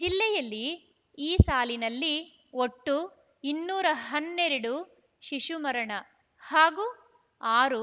ಜಿಲ್ಲೆಯಲ್ಲಿ ಈ ಸಾಲಿನಲ್ಲಿ ಒಟ್ಟು ಇನ್ನೂರ ಹನ್ನೆರಡು ಶಿಶುಮರಣ ಹಾಗೂ ಆರು